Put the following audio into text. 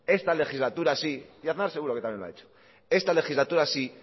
esta legislatura sí y aznar seguro que también lo ha hecho esta legislatura sí